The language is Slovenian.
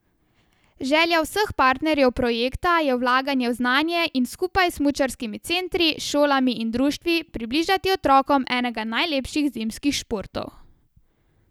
Želja vseh partnerjev projekta je vlaganje v znanje in skupaj s smučarskimi centri, šolami in društvi približati otrokom enega najlepših zimskih športov.